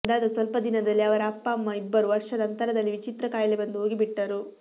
ಅದಾದ ಸ್ವಲ್ಪ ದಿನದಲ್ಲೇ ಅವರ ಅಪ್ಪ ಅಮ್ಮ ಇಬ್ಬರೂ ವರ್ಷದ ಅಂತರದಲ್ಲಿ ವಿಚಿತ್ರ ಖಾಯಿಲೆ ಬಂದು ಹೋಗಿಬಿಟ್ಟರು